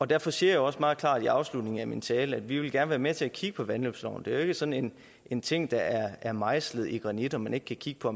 derfor siger jeg også meget klart i afslutningen af min tale at vi gerne med til at kigge på vandløbsloven det er jo ikke sådan en ting der er mejslet i granit så man ikke kan kigge på